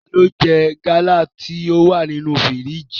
Tani o jẹ gala ti o wa ninu firiji?